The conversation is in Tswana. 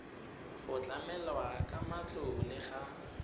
go tlamelwa ka matlole ga